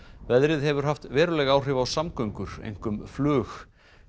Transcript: veðrið hefur haft veruleg áhrif á samgöngur einkum flug